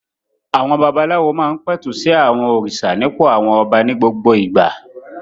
Àwọn babaláwo máa ń pẹ̀tù sí àwọn òrìṣà nípò àwọn ọba ní gbogbo ìgbà.